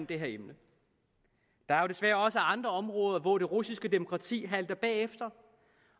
det her emne der er desværre også andre områder hvor det russiske demokrati halter bagefter